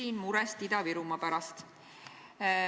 Küsin murest Ida-Virumaa pärast.